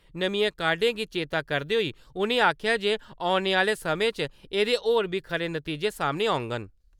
नमियें काडें गी चेत्ता करदे होई उ'नें आखेआ जे औने आह्ले समें च एह्दे होर बी खरे नतीजे सामने आङन ।